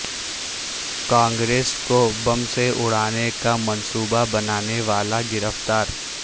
کانگریس کوبم سے اڑانے کا منصوبہ بنانے والا گرفتار